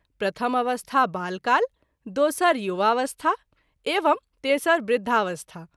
प्रथम अवस्था बाल काल, दोसर युवावस्था एवं तेसर वृद्धावस्था।